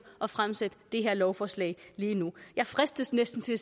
at fremsætte det her lovforslag lige nu jeg fristes næsten til at